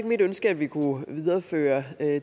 mit ønske at vi kunne videreføre